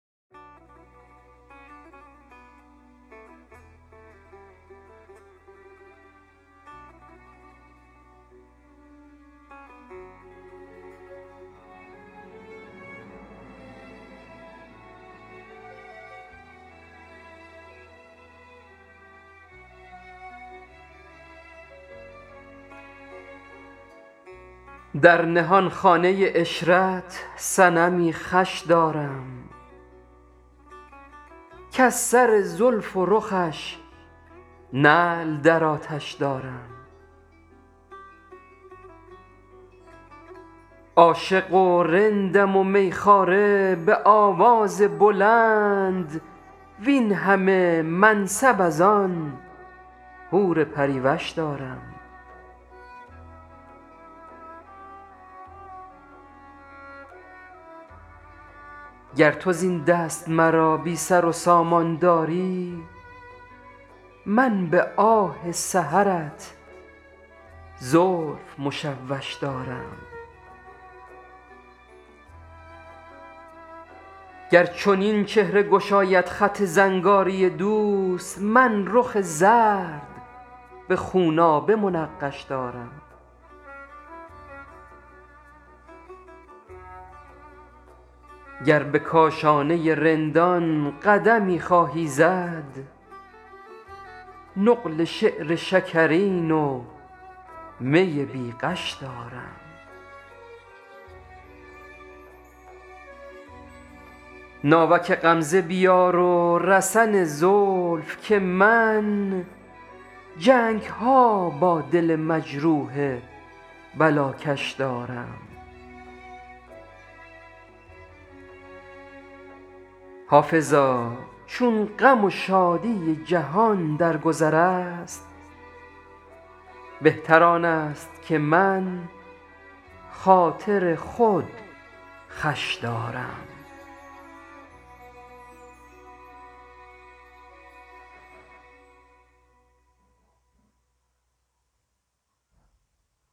در نهانخانه عشرت صنمی خوش دارم کز سر زلف و رخش نعل در آتش دارم عاشق و رندم و می خواره به آواز بلند وین همه منصب از آن حور پری وش دارم گر تو زین دست مرا بی سر و سامان داری من به آه سحرت زلف مشوش دارم گر چنین چهره گشاید خط زنگاری دوست من رخ زرد به خونابه منقش دارم گر به کاشانه رندان قدمی خواهی زد نقل شعر شکرین و می بی غش دارم ناوک غمزه بیار و رسن زلف که من جنگ ها با دل مجروح بلاکش دارم حافظا چون غم و شادی جهان در گذر است بهتر آن است که من خاطر خود خوش دارم